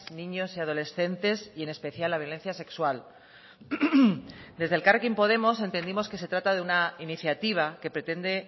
niños y adolescentes y en especial la violencia sexual desde elkarrekin podemos entendimos que se trata de una iniciativa que pretende